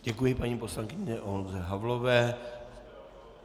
Děkuji paní poslankyni Olze Havlové.